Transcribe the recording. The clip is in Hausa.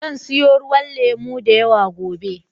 Zan siyo ruwan lemo da yawa gobe.